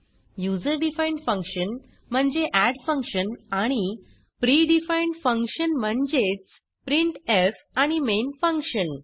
user defined function म्हणजे add function आणि pr defined function म्हणजेच प्रिंटफ आणि मेन फंक्शन